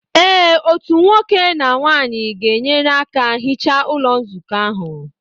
Ee otu nwoke na nwanyị ga-enyere aka hichaa Ụlọ Nzukọ ahụ